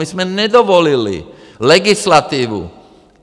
My jsme nedovolili legislativu!